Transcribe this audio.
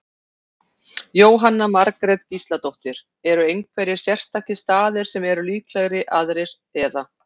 Jóhanna Margrét Gísladóttir: Eru einhverjir sérstakir staðir sem eru líklegri aðrir, eða?